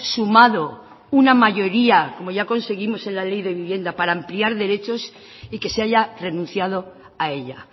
sumado una mayoría como ya conseguimos en la ley de vivienda para ampliar derechos y que se haya renunciado a ella